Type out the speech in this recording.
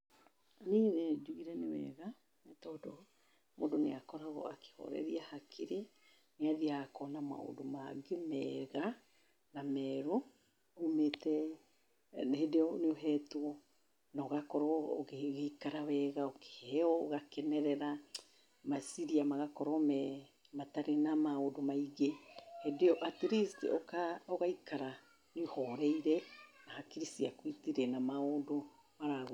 Niĩ nĩ njugire nĩ wega nĩ tondũ mũndũ nĩ akoragwo akĩhoreria hakiri, nĩ athiaga akona maũndũ mangĩ mega na merũ umĩte, nĩ hĩndĩ ĩyo nĩ ũhetwo na ũgakorwo ũgĩikara wega, ũkĩheo ũgakenerera, meciria magakorwo me, matarĩ na maũndũ maingĩ. Hĩndĩ ĩyo atleast ũgaikara ũhoreire na hakiri ciaku citirĩ na maũndũ.